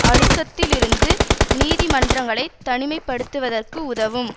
அழுத்தத்திலிருந்து நீதி மன்றங்களை தனிமைப்படுத்துவதற்கு உதவும்